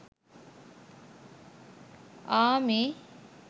army